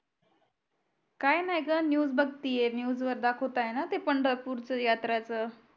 काय नाय ग NEWS बगतिये NEWS वर दाखवतायना ते पंढरपूर च यात्राच